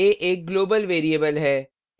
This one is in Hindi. a एक global variable है